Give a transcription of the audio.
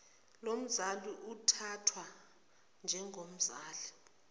lomzali uthathwa njengomzali